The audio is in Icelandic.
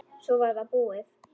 Svo var það búið.